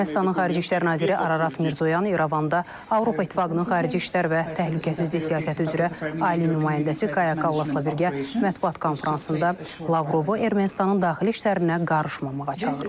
Ermənistanın xarici İşlər naziri Ararat Mirzoyan İrəvanda Avropa İttifaqının xarici İşlər və təhlükəsizlik siyasəti üzrə ali nümayəndəsi Kallasla birgə mətbuat konfransında Lavrovu Ermənistanın daxili işlərinə qarışmamağa çağırıb.